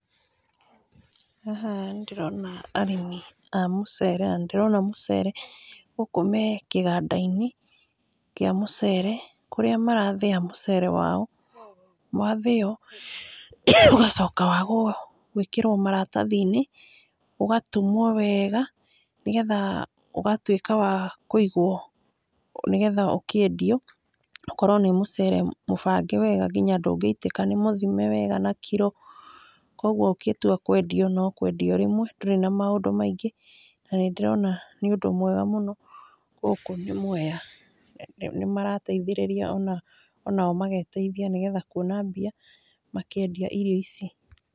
Haha nĩ ndĩrona arĩmi a mũcere na nĩ ndĩrona mũcere gũkũ we kĩganda-inĩ kĩa mũcere kũrĩa marathĩa mũcere wao, wathĩo ũgacoka wa gwĩkĩrwo maratathi-inĩ wega ũgatumwo wega, nĩgetha ũgatwĩka wa kũigwo, nĩgetha ũkĩendio ũkorwo nĩ mũcere mũbange wega nginya ndũngĩitika, niĩũthime wega na kiro, kũgwo ona ũngĩtwakwendio no kwendio o rĩmwe ndũrĩ na maũndũ maingĩ , na nĩ ndĩrona nĩ ũndũ mwega mũno, gũkũ nĩ mwea , nĩ marateithĩrĩria onao mageteithia na kuona mbia makĩendia irio ici.